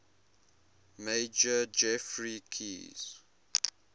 major geoffrey keyes